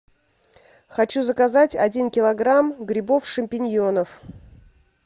хочу заказать один килограмм грибов шампиньонов